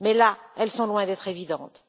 Mais là, elles sont loin d'être évidentes.